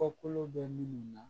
Kɔkolo bɛ minnu na